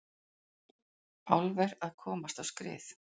Álver að komast á skrið